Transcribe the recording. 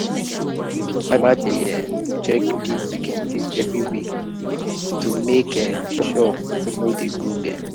dey um check pig pikin teeth every week to make sure sure no dey grow bend.